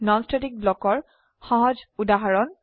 non static ব্লকে সহজ উদাহৰণ